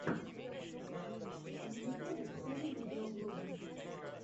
на ютубе покажи видеоблоги